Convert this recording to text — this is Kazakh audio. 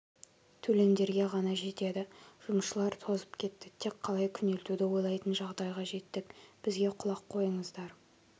төлемдерге ғана жетеді жұмысшылар тозып кетті тек қалай күнелтуді ойлайтын жағдайға жеттік бізге құлақ қойыңыздар